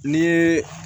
Ni ye